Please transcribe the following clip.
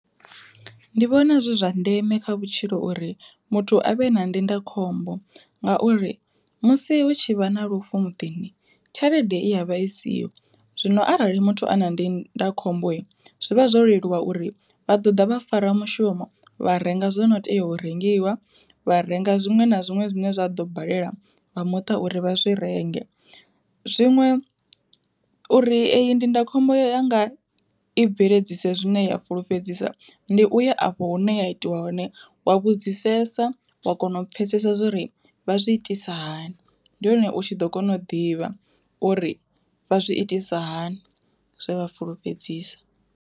Ndi vhona zwi zwa ndeme kha vhutshilo uri muthu avhe na ndindakhombo ngauri musi hu tshi vha na lufu muḓini tshelede i ya vha isiho, zwino arali muthu ana ndinda khombo zwivha zwo leluwa uri vha ḓo ḓa vha farwa mushumo vha renga zwono tea u rengiwa vha renga zwiṅwe na zwiṅwe zwine zwa ḓo balelwa vha muṱa uri vha zwi renge. Zwiṅwe uri eyi ndindakhombo ya nga i bveledzise zwine ya fulufhedzisa ndi uya afho hune ya itiwa hone wa vhudzisesa wa kona u pfhesesa zwa uri vha zwi itisa hani, ndi hone u tshi ḓo kona u ḓivha uri vha zwi itisa hani, zwe vha fulufhedzisa.